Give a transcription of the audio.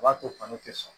A b'a to kɔnɔ tɛ sɔn